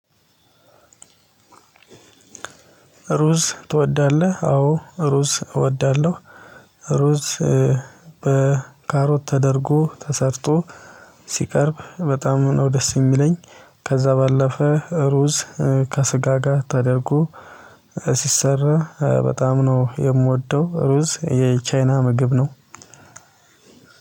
ሩዝ ትወዳለህ? አዎ ሩዝ እወዳለሁ። ሩዝ በካሮት ተደርጎ ተሰርቶ ሲቀርብ በጣም ነው ደስ የሚለኝ። ከዛ ባለፈ ሩዝ ከስጋ ጋር ተደርጎ ሲሰራ በጣም ነው የምወደው። ሩዝ የቻይና ምግብ ነው።